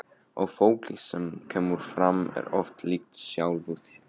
Og fólkið sem kemur fram er oft líkt sjálfu sér.